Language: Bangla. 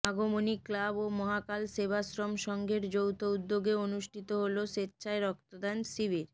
আগমনী ক্লাব ও মহাকাল সেবাশ্রম সংঘের যৌথ উদ্যোগে অনুষ্ঠিত হল স্বেচ্ছায় রক্তদান শিবির